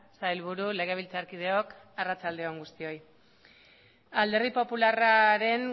sailburu legebiltzarkideok arratsalde on guztioi alderdi popularraren